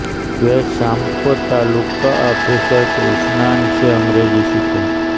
वे शाम को तालुका आफ़िसर कृष्णन से अंग्रेजी सीखे